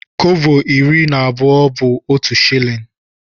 Kọbọ iri na abụọ bu otụ shillin.